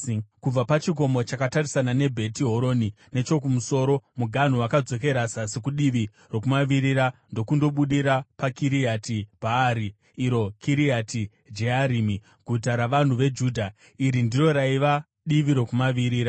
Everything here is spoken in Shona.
Kubva pachikomo chakatarisana neBheti Horoni nechokumusoro, muganhu wakadzokera zasi kudivi rokumavirira ndokundobudira paKiriati Bhaari (iro Kiriati Jearimi), guta ravanhu veJudha. Iri ndiro raiva divi rokumavirira.